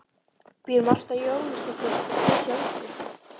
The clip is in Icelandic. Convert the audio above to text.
Býr Marta Jónasdóttir hér hjá ykkur?